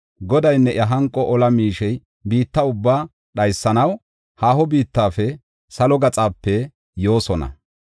Godaynne iya hanqo ola miishey biitta ubbaa dhaysanaw haaho biittafe, salo gaxape yoosona.